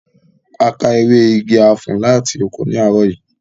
A ká ewé igi afon láti oko ní àárọ̀ yìí